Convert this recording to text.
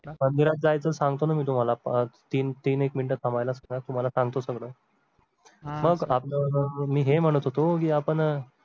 मंदिरात जायचं सांगतो ना मी तुम्हाला तीन तीन एक मिनटं थांबायला तुम्हाला सांगतो सगळं मग आपलं मी हे म्हणत होतो आपण